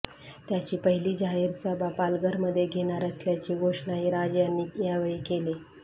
त्याची पहिली जाहीर सभा पालघरमध्ये घेणार असल्याची घोषणाही राज यांनी यावेळी केली